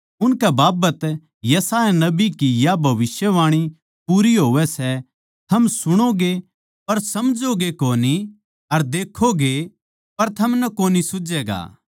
उनकै बाबत यशायाह नबी की या भविष्यवाणी पूरी होवै सै थम कान्ना तै तो सुणोगे पर समझोगे कोनी अर आँखां तै तो देक्खोगे पर थमनै कोनी सूझैगा